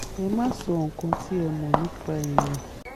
ẹ má sọ nǹkan tí ẹ ò mọ̀ nípa èèyàn